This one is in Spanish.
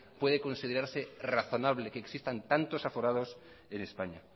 puede considerarse razonable que existan tantos aforados en españa